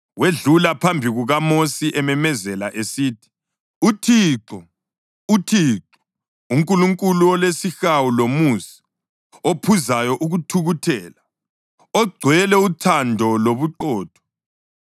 Wedlula phambi kukaMosi ememezela esithi, “ UThixo, uThixo; uNkulunkulu olesihawu lomusa, ophuzayo ukuthukuthela, ogcwele uthando lobuqotho,